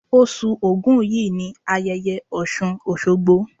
Osù Ògún yìí ni ayẹyẹ Ọ̀ṣùn Òṣogbo.